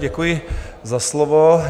Děkuji za slovo.